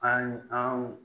An an